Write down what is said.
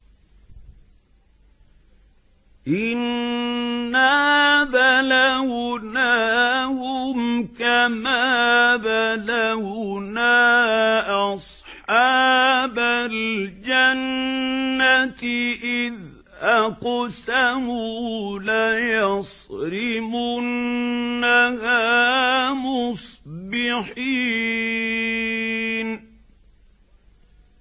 إِنَّا بَلَوْنَاهُمْ كَمَا بَلَوْنَا أَصْحَابَ الْجَنَّةِ إِذْ أَقْسَمُوا لَيَصْرِمُنَّهَا مُصْبِحِينَ